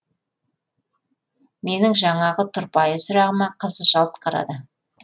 менің жаңағы тұрпайы сұрағыма қыз жалт қарады